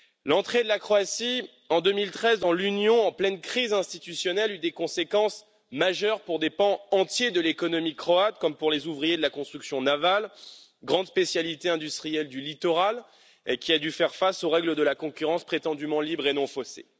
L'entrée de la Croatie en 2013 dans l'Union, en pleine crise institutionnelle, eut des conséquences majeures pour des pans entiers de l'économie croate, comme pour les ouvriers de la construction navale, grande spécialité industrielle du littoral qui a dû faire face aux règles de la concurrence prétendument libre et non faussée.